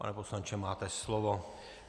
Pane poslanče, máte slovo.